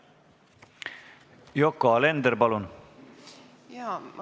Yoko Alender, palun!